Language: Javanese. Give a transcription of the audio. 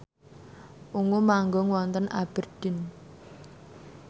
Ungu manggung wonten Aberdeen